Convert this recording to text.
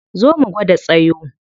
Zo mu gwada tsayo.